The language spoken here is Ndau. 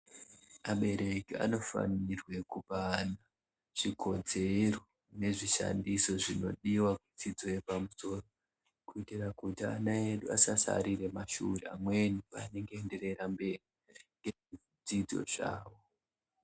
Abereki anofanirwe kupa ana chikodzero nezvishandiso zvinodiva kudzidzo yepamusoro. Kuitira kuti ana edu asasarire mumashure amweni panenge eienderera mberi ngezvidzidzo zvavo.